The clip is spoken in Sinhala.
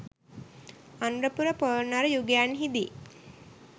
අනුරපුර පොළොන්නරු යුගයන්හිදි